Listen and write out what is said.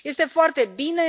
Este foarte bine.